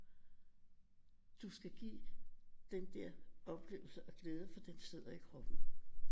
Du skal give den der oplevelse og glæde for den sidder i kroppen